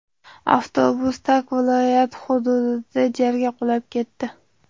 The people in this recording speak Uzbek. Avtobus Tak viloyati hududida jarga qulab ketdi.